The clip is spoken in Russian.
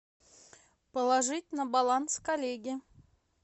положить на баланс коллеги